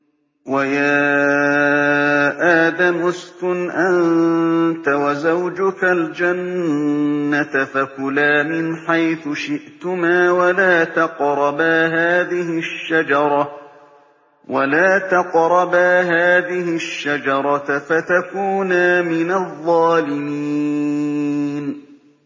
وَيَا آدَمُ اسْكُنْ أَنتَ وَزَوْجُكَ الْجَنَّةَ فَكُلَا مِنْ حَيْثُ شِئْتُمَا وَلَا تَقْرَبَا هَٰذِهِ الشَّجَرَةَ فَتَكُونَا مِنَ الظَّالِمِينَ